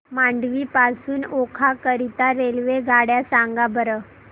मांडवी पासून ओखा करीता रेल्वेगाड्या सांगा बरं